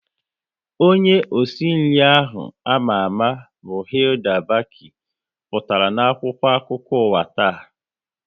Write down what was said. Onye osi nri ahụ ama ama bụ Hilda Bacci pụtara na akwụkwọ akụkọ ụwa taa